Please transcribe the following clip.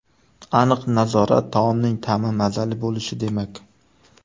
Aniq nazorat- taomning ta’mi mazali bo‘lishi demak.